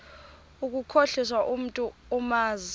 ukukhohlisa umntu omazi